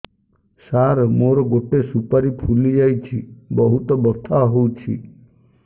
ସାର ମୋର ଗୋଟେ ସୁପାରୀ ଫୁଲିଯାଇଛି ବହୁତ ବଥା ହଉଛି